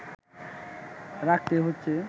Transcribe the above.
রাখতে হচ্ছে